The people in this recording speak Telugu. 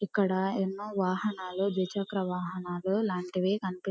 ఇక్కడ ఎన్నో వాహనాలు ద్విచక్ర వాహనాలు లాంటివి కని --